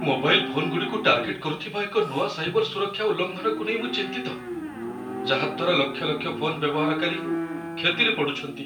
Mobile ଫୋନଗୁଡ଼ିକୁ target କରୁଥିବା ଏକ ନୂଆ ସାଇବର ସୁରକ୍ଷା ଉଲ୍ଲଂଘନକୁ ନେଇ ମୁଁ ଚିନ୍ତିତ, ଯାହା ଦ୍ୱାରା ଲକ୍ଷ ଲକ୍ଷ ଫୋନ୍ ବ୍ୟବହାରକାରୀ କ୍ଷତିରେ ପଡ଼ୁଛନ୍ତି।